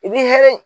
I b'i hinɛ